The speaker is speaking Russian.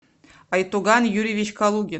айтуган юрьевич калугин